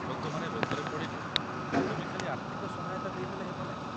ଲୋକମାନେ ରୋଗରେ ପଡ଼ିଲେ ତୁମେ ଖାଲି ଆର୍ଥିକ ସହାୟତା ଦେଇଦେଲେ ହେବ ନାହିଁ ।